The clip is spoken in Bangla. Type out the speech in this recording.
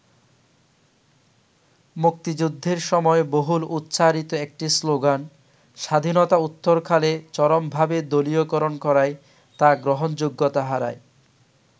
মুক্তিযুদ্ধের সময় বহুল উচ্চারিত একটি শ্লোগান স্বাধীনতা উত্তরকালে চরমভাবে দলীয়করণ করায় তা গ্রহণযোগ্যতা হারায়।